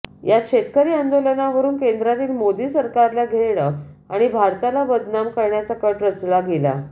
यात शेतकरी आंदोलनावरून केंद्रातील मोदी सरकाराला घेरणं आणि भारताला बदनाम करण्याचा कट रचला गेला